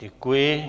Děkuji.